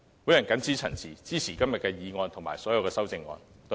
我謹此陳辭，支持今天的議案及所有修正案。